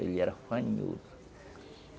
Ele era fanhoso.